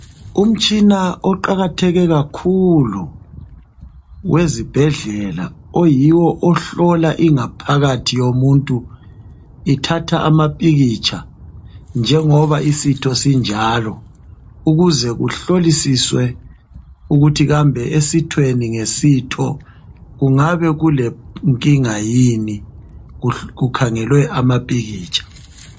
Umtshina oqakatheke kakhulu wezibhedlela yiwo ohlola ingaphakathi yomuntu ithatha amapikitsha njengoba isitho sinjalo ukuze kuhlolisiswe ukuthi kambe esithweni ngesitho kungabe kulenkinga yini kukhangelwe amapikitsha.